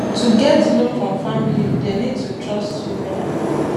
to get loan from family dem need to trust you wella